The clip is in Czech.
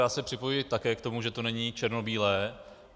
Já se připojuji také k tomu, že to není černobílé.